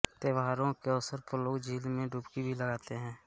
त्योहारों के अवसर पर लोग झील में डुबकी भी लगाते हैं